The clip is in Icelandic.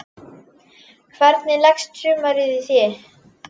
Hvernig leggst sumarið í þig?